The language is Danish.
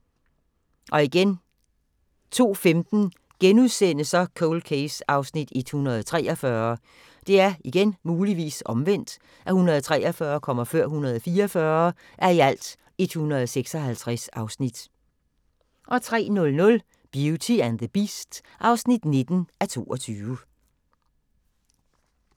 02:15: Cold Case (143:156)* 03:00: Beauty and the Beast (19:22)